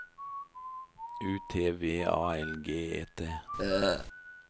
U T V A L G E T